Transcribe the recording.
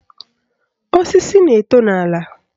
Osisi na-eto n'ala.